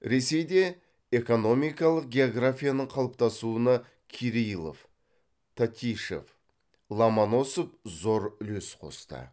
ресейде экономикалық географияның қалыптасуына кирилов татищев ломоносов зор үлес қосты